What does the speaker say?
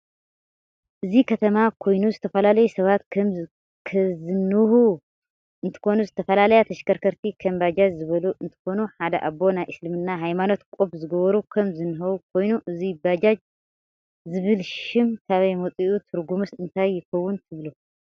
እዚ ከተማ ኮይኑ ዝተፈላላዩ ሰባት ከም ከዝንህው እንትከኑ ዝተፈላላያ ተሽከርከርቲ ከም በጃጅ ዝበሉ እንትከኑ ሓደ ኣቦ ናይ እስልምና ሃይማኖት ቆብ ዝገበሩ ከም ዝንህው ኮይኑ እዚ በጃጅ ዝብል ሽም ካበይ መፅኡ ትርግሙስ እንታይ ይከውን ትብሉ?